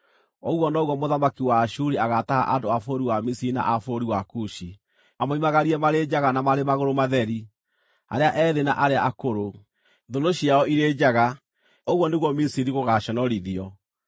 ũguo noguo mũthamaki wa Ashuri agaataha andũ a bũrũri wa Misiri na a bũrũri wa Kushi, amoimagarie marĩ njaga na marĩ magũrũ matheri, arĩa ethĩ na arĩa akũrũ, thũnũ ciao irĩ njaga; ũguo nĩguo Misiri gũgaaconorithio.